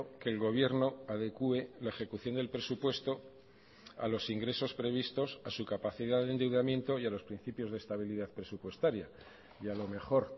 que el gobierno adecue la ejecución del presupuesto a los ingresos previstos a su capacidad de endeudamiento y a los principios de estabilidad presupuestaria y a lo mejor